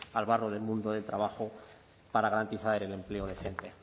al barro del mundo del trabajo para garantizar el empleo decente